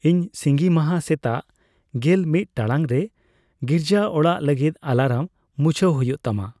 ᱤᱧ ᱥᱤᱸᱜᱤ ᱢᱟᱦᱟ ᱥᱮᱛᱟᱜ ᱜᱮᱞ ᱢᱤᱫ ᱴᱟᱲᱟᱝ ᱨᱮ ᱜᱤᱨᱡᱟᱹᱚᱲᱟᱜ ᱞᱟᱹᱜᱤᱫ ᱮᱞᱟᱨᱢ ᱢᱩᱪᱷᱟᱹᱣ ᱦᱩᱭᱩᱜ ᱛᱟᱢᱟ